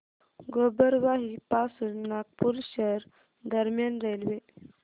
गोबरवाही पासून नागपूर शहर दरम्यान रेल्वे